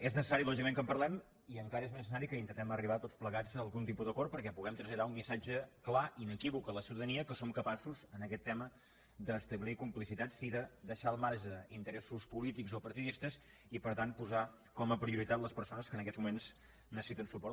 és necessari lògicament que en parlem i encara és més necessari que intentem arribar tots plegats a algun tipus d’acord perquè puguem traslladar un missatge clar i inequívoc a la ciutadania que som capaços en aquest tema d’establir complicitats i de deixar al marge interessos polítics o partidistes i per tant posar com a prioritat les persones que en aquests moments necessiten suport